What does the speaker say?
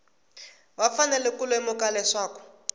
va fanele ku lemuka leswaku